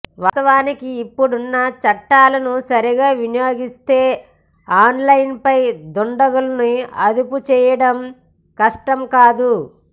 వాస్తవానికి ఇప్పుడున్న చట్టాలను సరిగా వినియోగిస్తే ఆన్లైన్ దుండ గుల్ని అదుపు చేయడం కష్టం కాదు